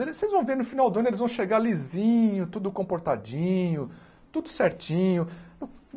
Vocês vão ver no final do ano, eles vão chegar lisinho, tudo comportadinho, tudo certinho.